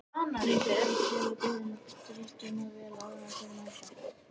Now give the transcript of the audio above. Mundu bara að kæla bjórinn og drykkina vel áður en þeir mæta.